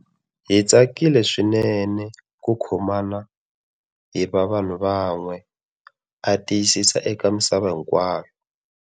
Hi tsakile swinene ku kho mana hi va vanhu van'we, a tiyisisa eka misava hinkwayo.